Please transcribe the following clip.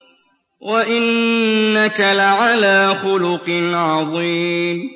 وَإِنَّكَ لَعَلَىٰ خُلُقٍ عَظِيمٍ